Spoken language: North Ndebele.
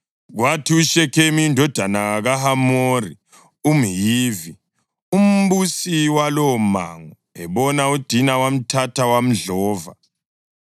Kwathi uShekhemu, indodana kaHamori umHivi, umbusi walowomango, ebona uDina, wamthatha wamdlova.